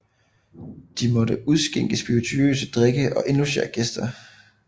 De måtte udskænke spirituøse drikke og indlogere gæster